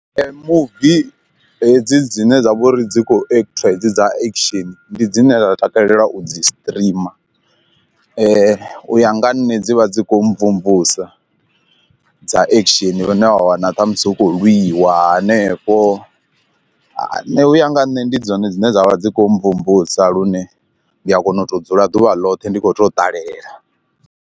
Muvi hedzi dzine dza vha uri dzi khou ekthiwa hedzi dza action ndi dzine nda takalela u dzi streamer, u ya nga ha nṋe dzi vha dzi kho mvumvusa dza action lune wa wana ṱhamusi hu khou lwiwa hanefho nṋe uya nga nne ndi dzone dzine dzavha dzi kho mvumvusa lune ndi a kona u to dzula ḓuvha ḽoṱhe ndi kho to ṱalela.